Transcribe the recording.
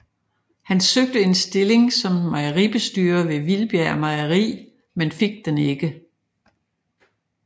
Han søgte en stilling som mejeribestyrer ved Vildbjerg mejeri men fik den ikke